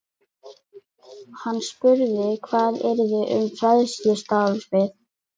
Hann spurði hvað yrði um fræðslustarfið.